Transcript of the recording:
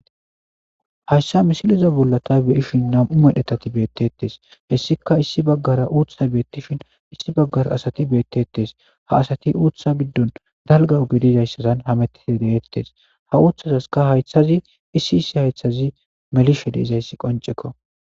Hayssa misiliza bollata beyishin nam'u medhetati beettettes hessika issi baggara uutha beettishin issi baggara asati beettetes haasati uutha biddon dalga ogedizayssasan hamettiti de'ettes hauuthazaska haythazi issi issi haythazi melishe deizayssi qoncekko.